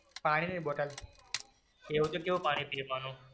પાણી ની બોટલ એવું તો કેવું પાણી પીવે માનવ.